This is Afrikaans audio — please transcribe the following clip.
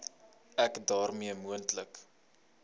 ek daarmee moontlike